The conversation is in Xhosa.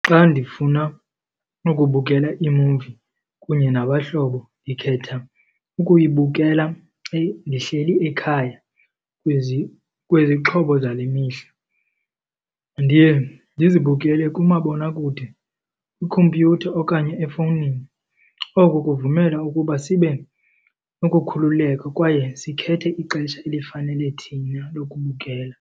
Xa ndifuna ukubukela imuvi kunye nabahlobo ndikhetha ukuyibukela ndihleli ekhaya kwizixhobo zale mihla. Ndiye ndizibukele kumabonakude, kwikhompyutha okanye efowunini. Oku kuvumela ukuba sibe ukukhululeka kwaye sikhethe ixesha elifanele thina lokubukela.